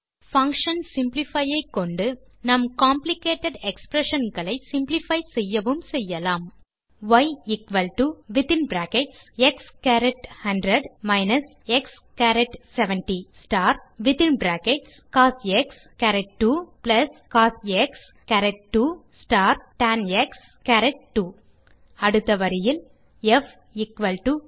ய் எக்ஸ்100 எக்ஸ்70கோஸ்2 cos2டான்2 அடுத்த வரியில் ப் பாக்டர் பங்ஷன் சிம்ப்ளிஃபை ஐ கொண்டு நாம் காம்ப்ளிகேட்டட் எக்ஸ்பிரஷன் களை சிம்ப்ளிஃபை செய்யவும் செய்யலாம்